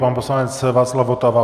Pan poslanec Václav Votava.